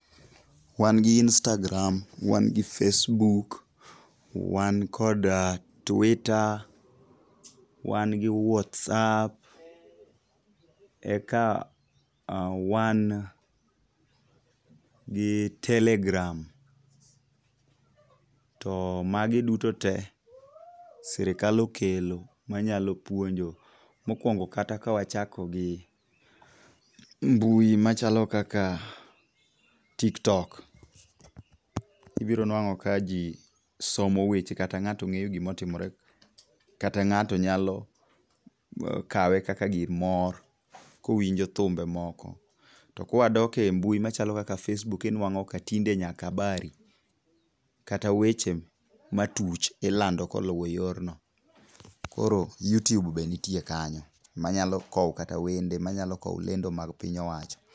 Wan gi Instagram, wan gi Facebook, wan kod Twitter, wan gi Whatsapp, eka wan gi Telegram, to magi duto te sirikal okelo manyalo puonjo. Mokwongo kata kawachako gi mbui machalo kaka Tiktok, ibiro nwang'o ka ji somo weche kata ng'ato ng'eyo gimotimore kata ng'ato nyalo kawe kaka gir mor kowinjo thumbe moko. To kwadok e mbui machalo kaka Facebook inwang'o ka tinde nyaka habari kata weche matuch ilando koyudo yorno. Koro Youtube be nitie kanyo manyalo kowo kata wende ,manyalo kowo lendo mag piny owacho.